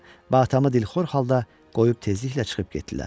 Atamı dilxor halda qoyub tezliklə çıxıb getdilər.